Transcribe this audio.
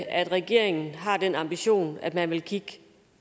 at regeringen har den ambition at man vil kigge